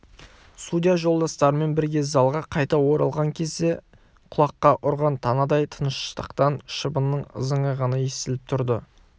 судья жолдастарымен бірге залға қайта оралған кезде құлаққа ұрған танадай тыныштықтан шыбынның ызыңы ғана естіліп тұрды